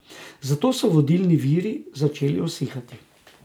Zato so vodni viri začeli usihati.